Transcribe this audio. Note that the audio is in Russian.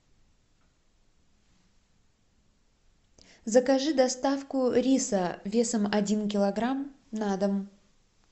закажи доставку риса весом один килограмм на дом